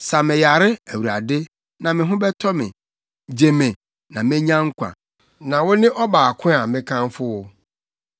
Sa me yare Awurade, na me ho bɛtɔ me; gye me na menya nkwa, na wo ne ɔbaako a mekamfo wo.